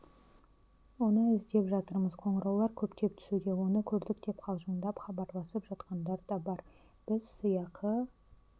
оны іздеп жатырмыз қоңыраулар көптеп түсуде оны көрдік деп қалжыңдап хабарласып жатқандар да бар біз сыйақы